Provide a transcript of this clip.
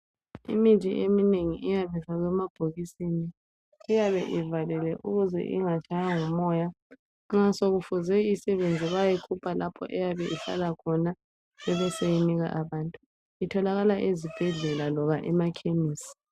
Imithi eminengi ifakwa emabhokisini. Iyabe ivalelwe ukuze ingatshaywa ngumoya. Nxa sokufuze isebenze bayayikhupha lapho eyabe ihlala khonaibe isinikwa abantu. Itholakala ezibhedlela loba emakhemesi.